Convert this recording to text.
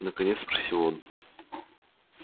наконец спросил он